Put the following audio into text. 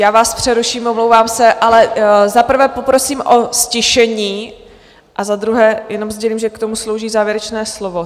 Já vás přeruším, omlouvám se, ale za prvé poprosím o ztišení a za druhé jenom sdělím, že k tomu slouží závěrečné slovo.